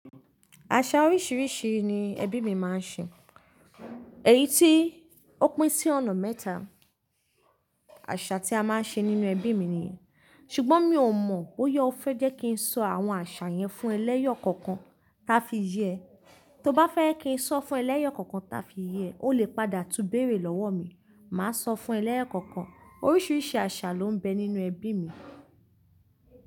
Àṣà oríṣiríṣi ni ẹbí mi máa ń ṣe. Èyí tí ó pín sí ọ̀nà mẹ́ta àṣà tí a máa ń ṣe nínú ẹbí mi nìyẹn. Ṣùgbọ́n mi ò mọ̀ bóyá o fẹ́ jẹ́ kí n sọ àwọn àṣà yẹn fún ẹ lẹ́yọ̀ kookan táa fi yé ẹ. Tó bá fẹ́ kí n sọ fún ẹ lẹ́yọ̀ kookan táa fi yé ẹ, o lè padà túbéèrè lọ́wọ́ mi. Màá sọ fún ẹlẹ́yọ̀ kankan. Oríṣiríṣi àṣà ló ń bẹ nínú ẹbí mi.